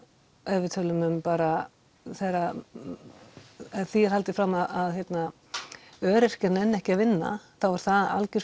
ef við tölum um bara þegar því er haldið fram að öryrkjar nenni ekki að vinna þá er það algjör